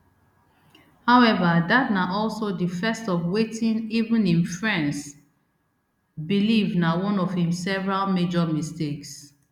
however dat na also di first of wetin even im friends believe na one of im several major mistakes